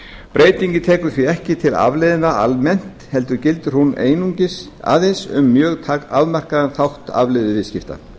breytingin tekur því ekki til afleiðna almennt heldur gildir hún aðeins um mjög afmarkaðan þátt afleiðuviðskipta